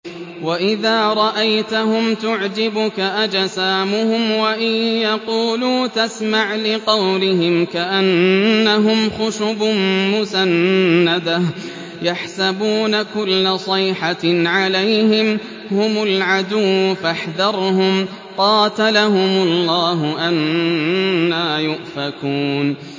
۞ وَإِذَا رَأَيْتَهُمْ تُعْجِبُكَ أَجْسَامُهُمْ ۖ وَإِن يَقُولُوا تَسْمَعْ لِقَوْلِهِمْ ۖ كَأَنَّهُمْ خُشُبٌ مُّسَنَّدَةٌ ۖ يَحْسَبُونَ كُلَّ صَيْحَةٍ عَلَيْهِمْ ۚ هُمُ الْعَدُوُّ فَاحْذَرْهُمْ ۚ قَاتَلَهُمُ اللَّهُ ۖ أَنَّىٰ يُؤْفَكُونَ